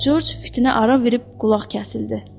George fitinə ara verib qulaq kəsildi.